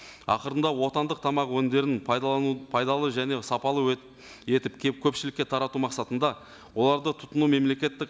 ақырында отандық тамақ өнімдерін пайдалану пайдалы және сапалы етіп келіп көпшілікке тарату мақсатында оларды тұтыну мемлекеттік